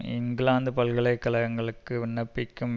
இங்கிலாந்து பல்கலைக்கழகங்களுக்கு விண்ணப்பிக்கும்